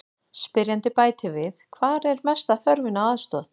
Spyrjandi bætir við: Hvar er mesta þörfin á aðstoð?